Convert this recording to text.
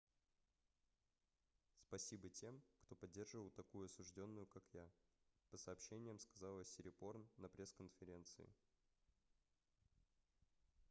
спасибо тем кто поддерживал такую осуждённую как я - по сообщениям сказала сирипорн на пресс-конференции